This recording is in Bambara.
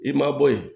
I ma bɔ yen